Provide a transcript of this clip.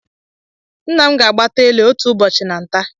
Nna m ga-agbata ele otu ụbọchị na nta